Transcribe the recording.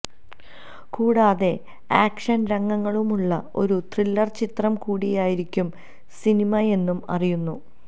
കൂടാതെ ആക്ഷന് രംഗങ്ങളുമുളള ഒരു ത്രില്ലര് ചിത്രം കൂടിയായിരിക്കും സിനിമയെന്നും അറിയുന്നു